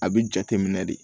A bɛ jate minɛ de